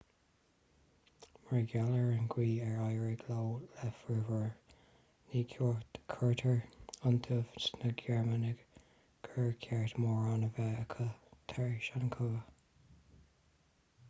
mar gheall ar an gcaoi ar éirigh leo le fomhuireáin ní chuirtear iontaoibh sna gearmánaigh gur ceart mórán a bheith acu tar éis an chogaidh